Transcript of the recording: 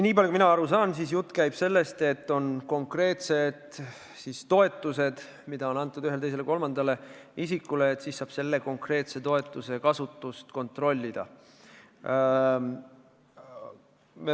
Nii palju kui ma aru saan, jutt käib sellest, et on konkreetsed toetused ühele, teisele või kolmandale isikule ja nende konkreetsete toetuste kasutust saab kontrollida.